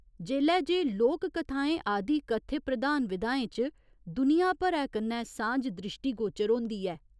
जेल्लै जे लोक कथाएं आदि कथ्य प्रधान विधाएं च दुनिया भरै कन्नै सांझ द्रिश्टीगोचर होंदी ऐ।